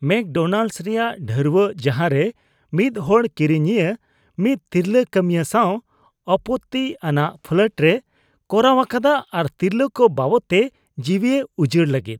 McDonald's ᱨᱮᱭᱟᱜ ᱰᱷᱟᱹᱨᱣᱟᱹᱜ ᱡᱟᱦᱟᱨᱮ ᱢᱤᱫ ᱦᱚᱲ ᱠᱤᱨᱤᱧᱤᱭᱟᱹ ᱢᱤᱫ ᱛᱤᱨᱞᱟᱹ ᱠᱟᱹᱢᱤᱭᱟᱹ ᱥᱟᱶ ᱟᱯᱚᱛᱛᱤ ᱟᱱᱟᱜ ᱯᱷᱞᱟᱨᱴᱮ ᱠᱚᱨᱟᱣ ᱟᱠᱟᱫᱟ ᱟᱨ ᱛᱤᱨᱞᱟᱹ ᱠᱚ ᱵᱟᱵᱚᱫᱛᱮ ᱡᱤᱣᱤᱭ ᱩᱡᱟᱹᱲ ᱞᱟᱹᱜᱤᱫ